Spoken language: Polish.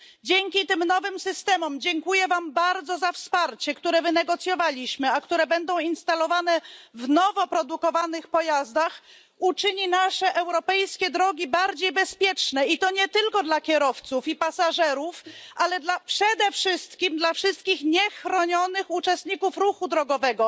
Dzięki tym nowym systemom dziękuję wam bardzo za wsparcie które wynegocjowaliśmy, a które będą instalowane w nowo produkowanych pojazdach, nasze europejskie drogi będą bardziej bezpieczne, i to nie tylko dla kierowców i pasażerów, ale przede wszystkim dla wszystkich niechronionych uczestników ruchu drogowego.